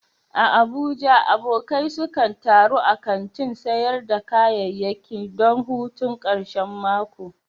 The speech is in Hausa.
A Abuja, abokai sukan taru a kantin sayar da kayayyaki don hutun karshen mako.